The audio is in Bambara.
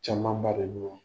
Caman ba de